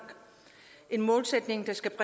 en målsætning der skal